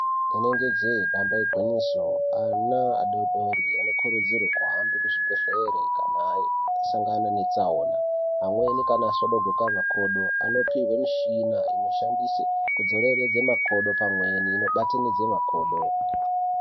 Inenge jee damba igwinyiso ana adodori anokurudzirwe kuhamba kuzvibhedhlere kana asangana netsaona amweni kana asvodogoka makodo anopihwe michina inoshandiswe kudzoreredza makodo pamweni inobatanidze makodo